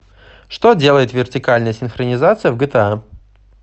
что делает вертикальная синхронизация в гта